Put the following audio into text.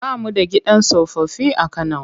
Ba mu da gidan tsofaffi a Kano.